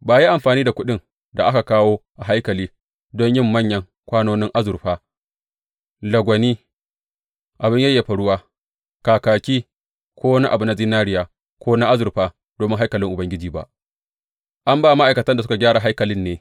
Ba a yi amfani da kuɗin da aka kawo a haikali don yin manyan kwanonin azurfa, lagwani, abin yayyafa ruwa, kakaki ko wani abu na zinariya, ko na azurfa domin haikalin Ubangiji ba; an ba ma’aikatan da suka gyara haikalin ne.